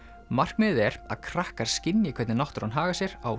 markmiðið er að krakkar skynji hvernig náttúran hagar sér á